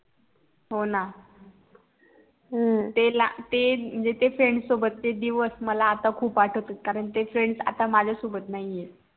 हो न ते FRIEND सोबत चे दिवस मला आता खूप आठवते कारण ते FRIEND आता माझ्या सोबत नाही आहे